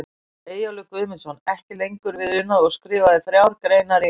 Eyjólfur Guðmundsson, ekki lengur við unað og skrifaði þrjár greinar í